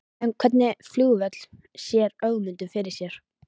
En hvernig flugvöll sér Ögmundur fyrir sér?